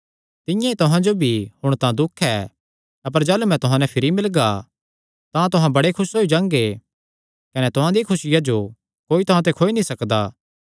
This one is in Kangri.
तिंआं ई तुहां जो भी हुण तां दुख ऐ अपर जाह़लू मैं तुहां नैं भिरी मिलगा तां तुहां बड़े खुस होई जांगे कने तुहां दिया खुसिया जो कोई तुहां ते खोई नीं सकदा